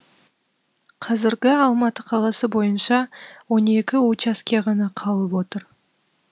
қазіргі алматы қаласы бойынша он екі учаске ғана қалып отыр